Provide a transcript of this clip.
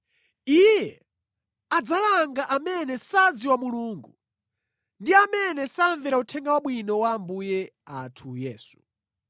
Iye adzalanga amene sadziwa Mulungu ndi amene samvera Uthenga Wabwino wa Ambuye athu Yesu.